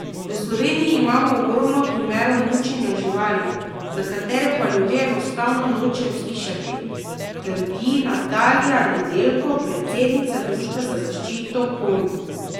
V Sloveniji imamo ogromno primerov mučenja živali, za katere pa ljudje enostavno nočejo slišati, trdi Natalija Nedeljko, predsednica Društva za zaščito konj.